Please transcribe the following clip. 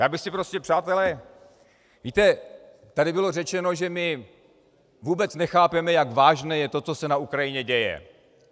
Já bych si prostě, přátelé - víte, tady bylo řečeno, že my vůbec nechápeme, jak vážné je to, co se na Ukrajině děje.